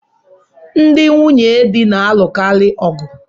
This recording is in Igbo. Ndị nwunyedi na-alukari ọgụ